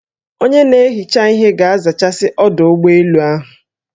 Onye na-ehicha ihe ga-azachasị ọdụ ụgbọ elu ahụ